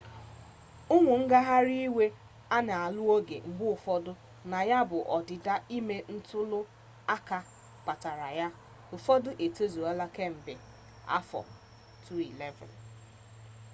ụmụ ngagharị iwe a na-alụ ọgụ mgbe ụfọdụ na ya bụ ọdịda ime ntuli aka kpatara ya ụfọdụ etozuola kemgbe 2011